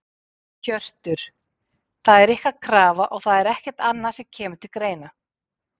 Hjörtur: Það er ykkar krafa og það er ekkert annað sem að kemur til greina?